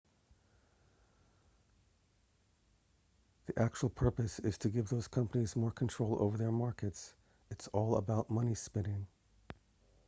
the actual purpose is to give those companies more control over their markets it's all about money spinning